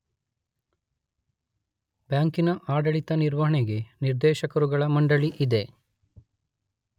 ಬ್ಯಾಂಕಿನ ಆಡಳಿತ ನಿರ್ವಹಣೆಗೆ ನಿರ್ದೇಶಕರುಗಳ ಮಂಡಳಿ ಇದೆ.